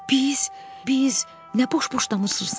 Biz, biz nə boş-boş danışırsan?